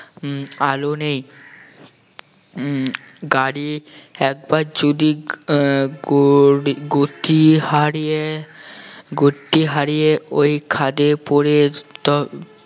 উম আলো নেই উম গাড়ি একবার যদি আহ গো~ গতি হারিয়ে গতি হারিয়ে ওই খাদে পড়ে তবে